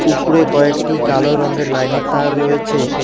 উপরে কয়েকটি কালো রঙের লাইন -এর তার রয়েছে।